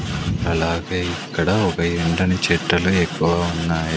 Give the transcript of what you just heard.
అలాగే ఇక్కడ ఒక ఎండని చెట్టులు ఎక్కువ ఉన్నాయి.